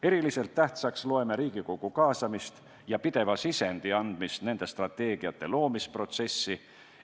Eriliselt tähtsaks loeme Riigikogu kaasamist ja pideva sisendi andmist nende strateegiate loomise protsessi.